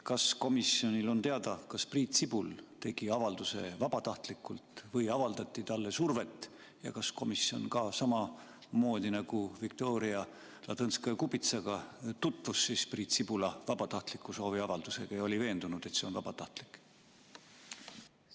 Kas komisjonil on teada, kas Priit Sibul tegi avalduse vabatahtlikult või avaldati talle survet ja kas komisjon, samamoodi nagu Viktoria Ladõnskaja-Kubitsa puhul, tutvus ka Priit Sibula vabatahtliku sooviavaldusega ja oli veendunud, et see on vabatahtlik?